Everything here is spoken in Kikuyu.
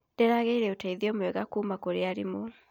Ndĩragĩire ũteithio mwega kuuma kũrĩ arimũ.